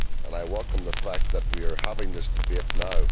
I welcome the fact that we are having this debate now.